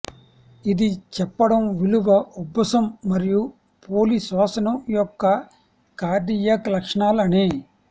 ఇది చెప్పడం విలువ ఉబ్బసం మరియు పోలి శ్వాసను యొక్క కార్డియాక్ లక్షణాలు అని